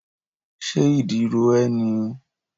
Ṣé ìdí ro ẹ́ ni?